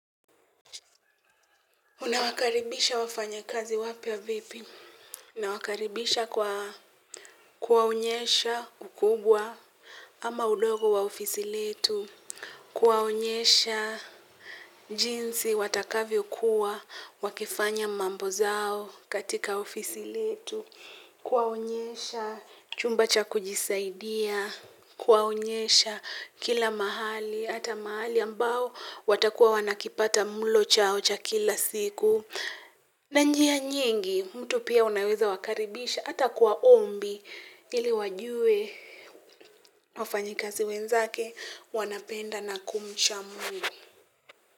Unawakaribisha wafanyakazi wapya vipi? Nawakaribisha kwa kuwaonyesha ukubwa ama udogo wa ofisi letu. Kuwaonyesha jinsi watakavyokuwa, wakifanya mambo zao katika ofisi letu. Kuwaonyesha chumba cha kujisaidia. Kuwaonyesha kila mahali, ata mahali ambao watakuwa wanakipata mlo chao cha kila siku. Na njia nyingi mtu pia unaweza wakaribisha hata kwa ombi ili wajue wafanyikazi wenzake wanapenda na kumcha mungu.